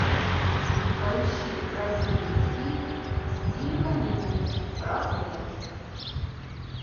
поищи красивый фильм в стиле комедии про смерть